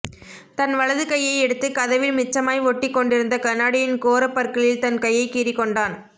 தன் வலது கையை எடுத்துக் கதவில் மிச்சமாய் ஒட்டிக் கொண்டிருந்த கண்ணாடியின் கோரப் பற்களில் தன் கையைக் கீறிக் கொண்டான்